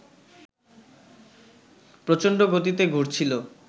প্রচণ্ড গতিতে ঘুরছিল